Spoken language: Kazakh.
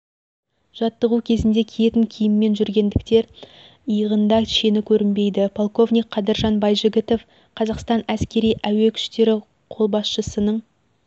жаттығу кезінде киетін киіммен жүргендіктен иығында шені көрінбейді полковник қадыржан байжігітов қазақстан әскери әуе күштері қолбасшысының